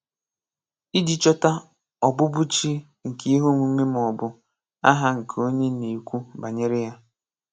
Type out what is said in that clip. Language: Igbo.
Iji chọta ọbụbụchi nke ihe omume ma ọ bụ aha nke onye a na-ekwu banyere ya.